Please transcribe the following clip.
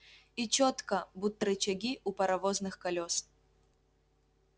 и чётко будто рычаги у паровозных колёс